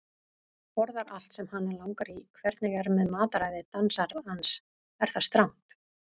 Borðar allt sem hana langar í Hvernig er með mataræði dansarans, er það strangt?